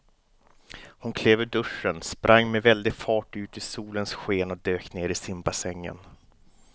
Hon klev ur duschen, sprang med väldig fart ut i solens sken och dök ner i simbassängen.